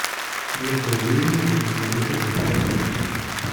до какого времени можно заехать в этот отель